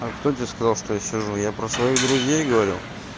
а кто тебе сказал что я сижу я про своих друзей говорю